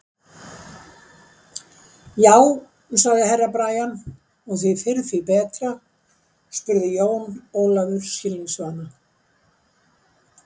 Já, sagði Herra Brian, og því fyrr því betra spurði Jón Ólafur skilningsvana.